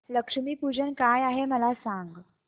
लक्ष्मी पूजन काय आहे मला सांग